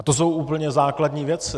A to jsou úplně základní věci.